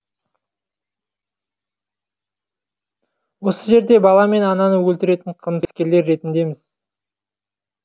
осы жерде баламен ананы өлтіретін қылмыскерлер ретіндеміз